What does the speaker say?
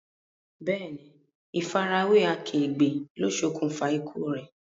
Bẹ́ẹ̀ni, ifa ara we akegbe lo ṣokunfa ikú re.